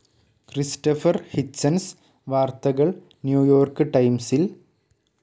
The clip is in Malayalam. ക്രിസ്റ്റഫർ ഹിച്ചൻസ് വാർത്തകൾ ന്യൂ യോർക്ക് ടൈംസിൽ